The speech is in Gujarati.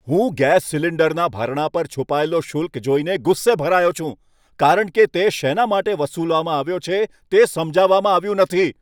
હું ગેસ સિલિન્ડરના ભરણા પર છુપાયેલો શુલ્ક જોઈને ગુસ્સે ભરાયો છું, કારણ કે તેમાં તે શેના માટે વસૂલવામાં આવ્યો છે તે સમજાવવામાં આવ્યું નથી.